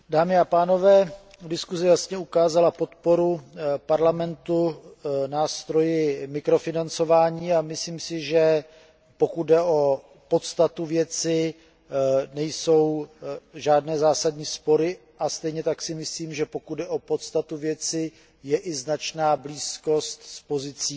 Dámy a pánové, diskuze jasně ukázala podporu Parlamentu nástroji mikrofinancování a myslím si, že pokud jde o podstatu věci, nejsou žádné zásadní spory a stejně tak si myslím, že pokud jde o podstatu věci, je i značná blízkost s pozicí